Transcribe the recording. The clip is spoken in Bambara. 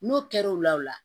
N'o kɛra o la o la